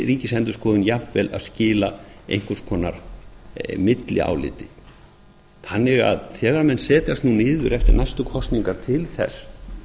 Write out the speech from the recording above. ríkisendurskoðun jafnvel að skila einhvers konar milliáliti þannig að þegar menn setjast nú niður eftir næstu kosningar til þess